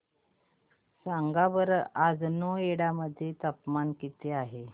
सांगा बरं आज नोएडा मध्ये तापमान किती आहे